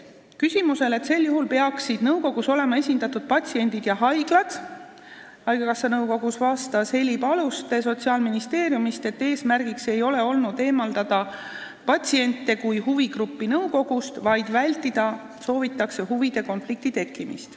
Küsimusele, kas sel juhul peaksid haigekassa nõukogus olema esindatud patsiendid ja haiglad, vastas Heli Paluste Sotsiaalministeeriumist, et eesmärgiks ei ole olnud nõukogust eemaldada patsiente kui huvigruppi, vaid soovitakse vältida huvide konflikti tekkimist.